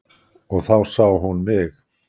Og þá sá hún mig.